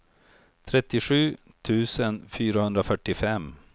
trettiosju tusen fyrahundrafyrtiofem